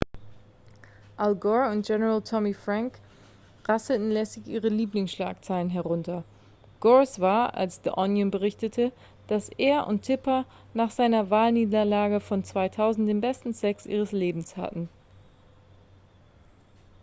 al gore und general tommy franks rasseln lässig ihre lieblingsschlagzeilen herunter gores war als the onion berichtete dass er und tipper nach seiner wahlniederlage von 2000 den besten sex ihres lebens hatten